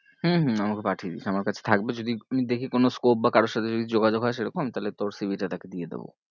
হম হম আমাকে পাঠিয়ে দিস আমার কাছে থাকবে যদি আমি দেখি কোনো scope বা কারোর সাথে যদি যোগাযোগ হয়ে সেরকম আমি তাহলে তোর C. V. টা তাকে দিয়ে দেব।